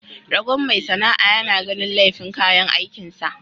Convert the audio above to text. Ragon mai sana'a yana ganin laifin kayan aikin sa.